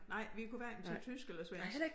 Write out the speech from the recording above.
Nej vi kunne hverken tage tysk eller svensk